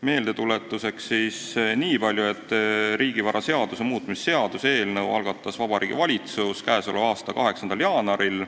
Meeldetuletuseks nii palju, et riigivaraseaduse muutmise seaduse eelnõu algatas Vabariigi Valitsus k.a 8. jaanuaril.